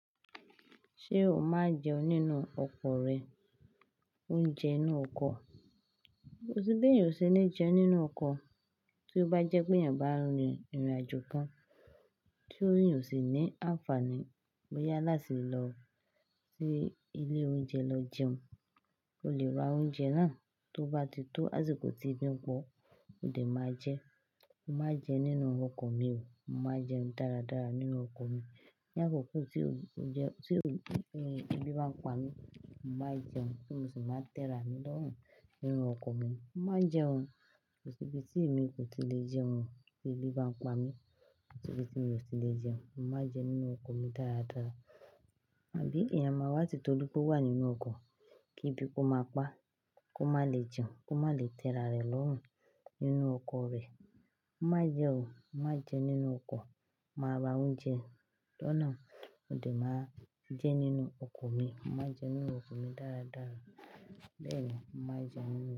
Ṣé o máa jẹun nínú ọkọ̀ rẹ, oúnjẹ inú ọkọ̀? Kosi bí èèyàn o ṣe ni jẹ nínú ọkọ̀ tí ó bá jẹ́ pé èèyàn bá rin ìrìnàjò kan tí ó yóò sì ní àǹfààní bóyá lásìlò sí ilé oúnjẹ lọ jẹun. O lè ra oúnjẹ náà tó bá ti tó àsìkò tí ebi pọ̀, ó lè máa jẹ. Mo máa jẹun nínú ọkọ̀ mi o. Mo máa jẹun dáradára nínú ọkọ̀ mi. Ní àkókò tí òúnjẹ, tí ebi bá ń pa mí, mo máa jẹun kí n sì máa tẹ́ra mi lọ́hùn nínú ọkọ̀ mi. Mo máa jẹun ko si ibí tí èmi kò tí lè jẹun tí ebi bá ń pa mí, bó ti bí tí mi ò tí lè jẹun, mo máa jẹ nínú ọkọ̀ mi dáradára. Àbí èèyàn máa wá ti tó ripe o wà nínú ọkọ̀ kí ebi kó máa pa á, kó má lè jẹun, kó má lè tẹ́ra rẹ̀ lọ́hùn nínú ọkọ̀ rẹ̀. Mo máa jẹun o, mo máa jẹun nínú ọkọ̀, mo máa ra oúnjẹ lọ́nà mó de máa jẹ nínú ọkọ̀ mi. Mo máa jẹ nínú ọkọ̀ mi dáradára. Bẹ́ẹ̀ni, mo máa jẹun nínú.